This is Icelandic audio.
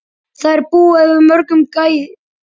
Þær búa yfir mörgum gæðum.